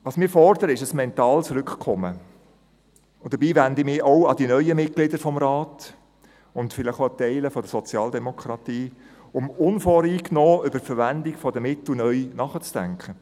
Was wir fordern, ist ein mentales Rückkommen, und dabei wende ich mich auch an die neuen Mitglieder des Rates und vielleicht auch an Teile der Sozialdemokratie, um unvoreingenommen über die Verwendung der Mittel neu nachzudenken.